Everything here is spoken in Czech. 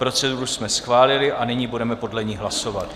Proceduru jsme schválili a nyní budeme podle ní hlasovat.